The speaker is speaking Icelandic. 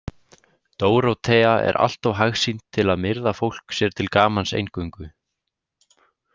Dórótea er allt of hagsýn til að myrða fólk sér til gamans eingöngu.